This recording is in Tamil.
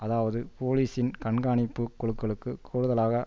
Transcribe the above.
அதாவது போலீசின் கண்காணிப்பு குழுக்களுக்கு கூடுதலாக